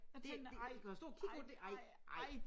Det kan du stå og kigge på det? Nej nej